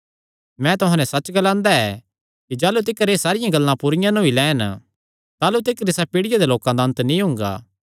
मैं तुहां नैं सच्च ग्लांदा ऐ कि जाह़लू तिकर एह़ सारियां गल्लां पूरी नीं होई लैंन ताह़लू तिकर इसा पीढ़िया दे लोकां दा अन्त नीं हुंगा